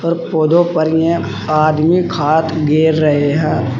और पौधों पर ये आदमी खाद गेर रहे है।